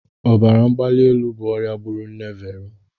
Ọbara mgbali elu bụ ọrịa gburu nne Vero.